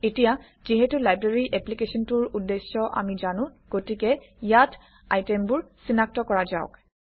এতিয়া যিহেতু লাইব্ৰেৰী এপ্লিকেশ্যনটোৰ উদ্দেশ্য আমি জানো গতিকে ইয়াত আইটেমবোৰ চিনাক্ত কৰা যাওক